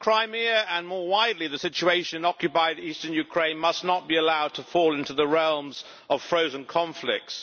Madam President, Crimea, and more widely, the situation in occupied eastern Ukraine must not be allowed to fall into the realms of frozen conflicts.